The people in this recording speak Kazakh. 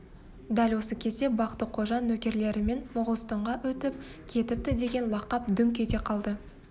дәл осы кезде бақты-қожа нөкерлерімен моғолстанға өтіп кетіптідеген лақап дүңк ете қалды